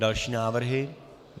Další návrhy.